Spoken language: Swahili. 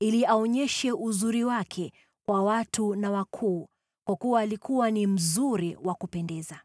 ili aonyeshe uzuri wake kwa watu na wakuu, kwa kuwa alikuwa ni mzuri wa kupendeza.